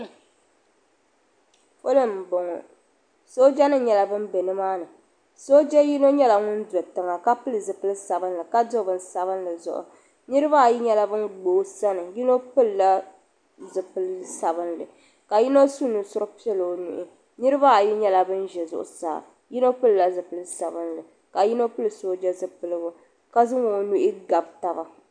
Polo m-bɔŋɔ soojanima nyɛla ban be nimaani sooja yino nyɛla ŋun do tiŋa ka pili zipili sabinli ka do bini sabinli zuɣu niriba ayi nyɛla ban gba o sani yino pilila zipili sabinli ka yino su nusuri piɛla o nuhi niriba ayi nyɛla ban ʒe zuɣusaa yino pilila zipili sabinli ka yino pili sooja zipiligu ka zaŋ o nuhi gabi taba.